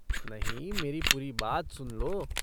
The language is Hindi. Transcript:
नहीं, मेरी पूरी बात सुन लो।